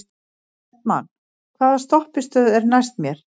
Bjartmann, hvaða stoppistöð er næst mér?